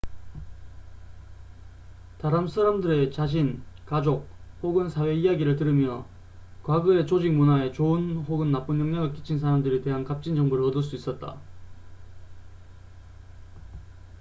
다른 사람들의 자신 가족 혹은 사회 이야기를 들으며 과거에 조직 문화에 좋은 혹은 나쁜 영향을 끼친 사람들에 대한 값진 정보를 얻을 수 있었다